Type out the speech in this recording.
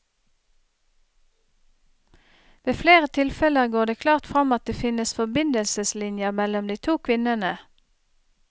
Ved flere tilfeller går det klart fram at det finnes forbindelseslinjer mellom de to kvinnene.